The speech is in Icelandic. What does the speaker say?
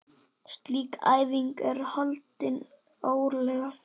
Slík æfing er haldin árlega.